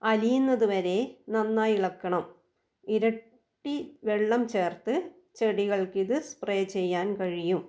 അലിയുന്നത് വരെ നന്നായി ഇളക്കണം ഇരട്ടി വെള്ളം ചേർത്ത് ചെടികൾക്കിത് സ്പ്രേ ചെയ്യാൻ കഴിയും.